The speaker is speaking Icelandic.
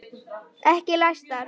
Ekki læstar.